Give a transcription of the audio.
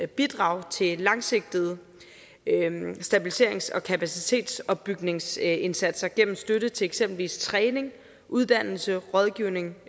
bidrag til langsigtede stabiliserings og kapacitetopbygningsindsatser gennem støtte til eksempelvis træning uddannelse rådgivning